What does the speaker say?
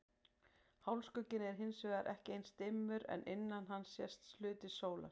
Hálfskugginn er hins vegar ekki eins dimmur en innan hans sést hluti sólar.